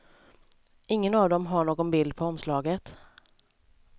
Ingen av dem har någon bild på omslaget.